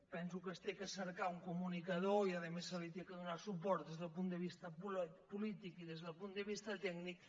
penso que s’ha de cercar un comunica·dor i a més se li ha de donar suport des del punt de vista polític i des del punt de vista tècnic